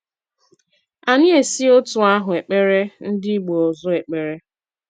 Anyị esi otú áhụ ekpere ndị ìgbo ọzọ ekpere